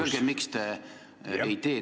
Öelge, miks te ei tee.